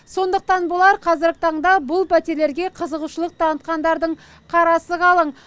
сондықтан болар қазіргі таңда бұл пәтерлерге қызығушылық танытқандардың қарасы қалың